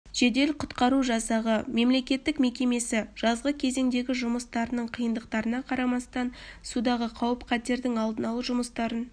жедел құтқару жасағы мемлекеттік мекемесі жазғы кезеңдегі жұмыстарының қиындықтарына қарамастан судағы қауіп-қатердің алдын алу жұмыстарын